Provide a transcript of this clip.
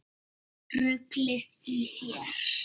Ruglið í þér!